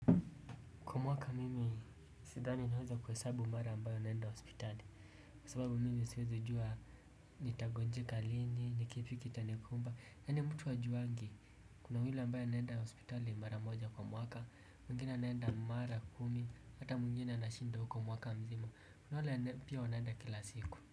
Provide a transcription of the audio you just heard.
Kwa mwaka mimi sidhani naweza kuhesabu mara ambayo naenda hospitali. Kwa sababu mimi siwezi jua nitagonjeka lini yaani mtu hajuangi kuna yule ambaye anaenda hospitali mara moja kwa mwaka. Mwingine anaenda mara kumi hata mwingine anashinda huko mwaka mzima. Kuna wale pia wanaenda kila siku.